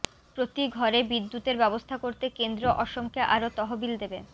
প্ৰতি ঘরে বিদ্যুতের ব্যবস্থা করতে কেন্দ্ৰ অসমকে আরও তহবিল দেবে